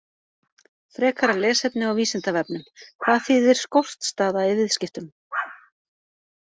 Frekara lesefni á Vísindavefnum: Hvað þýðir skortstaða í viðskiptum?